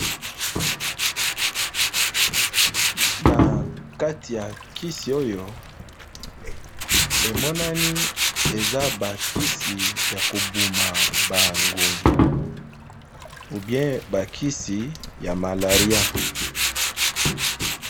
Na kati ya kisi oyo, emonani eza ba kisi ya kobuma ba ngungi où bien ba kisi ya malaria.